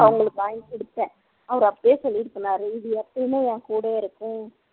அவங்களுக்கு வாங்கி குடுத்தேன் அவர் அப்பவே சொல்லிட்டு சொன்னார் இது எப்பயுமே என் கூடவே இருக்கும்